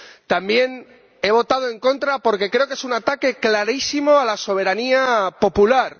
También he votado en contra porque creo que es un ataque clarísimo a la soberanía popular.